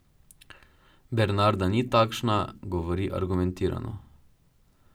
Bernarda ni takšna, govori argumentirano.